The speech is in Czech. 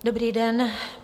Dobrý den.